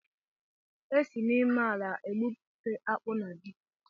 E si n'ime ala egbụpụta akpu na ji